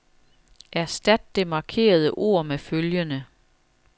Erstat det markerede ord med følgende.